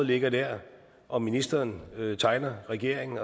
ligger der og ministeren tegner regeringen